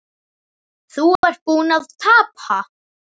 Þú ert búinn að tapa